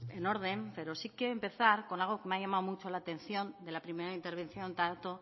en orden pero sí que empezar con algo que me ha llamado mucho la atención de la primera intervención tanto